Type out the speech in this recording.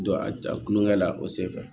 Don a tulo kɛ la o senfɛ